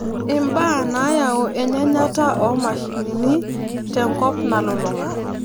ibaa naayau eyanyata oo mashinini te nkop nalulung'a.